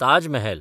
Taj Mahal